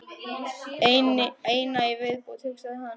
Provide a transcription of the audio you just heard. Eina í viðbót, hugsaði hann.